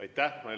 Aitäh!